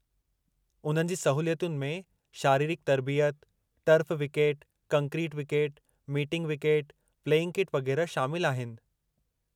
उन्हनि जी सहूलतुनि में शारिरिकु तर्बियत, turf wicket, concrete wicket, matting wicket, playing kit वग़ैरह शामिलु आहिनि।